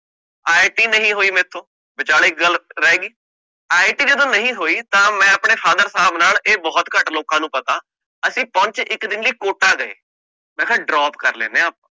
IIT ਨਹੀਂ ਹੋਇ ਮੇਰੇ ਤੋਂ ਬਿਚਾਲੇ ਗੱਲ ਰਹਿ ਗੀ ਤਾ IIT ਜਦੋ ਨਹੀਂ ਹੋਇ ਤਾ ਮੈਂ ਆਪਣੇ father ਸਾਹਬ ਨਾਲ ਇਹ ਗੱਲ ਬਹੁਤ ਘੱਟ ਲੋਕ ਨੂੰ ਪਤਾ ਅਸੀਂ ਪਹੁਚੇ ਇੱਕ ਦਿਨ ਲਈ ਕੋਟਾ ਗਏ ਮੈਂ ਕਹ ਆਪਾ drop ਕਰ ਲੈਣੇ ਆ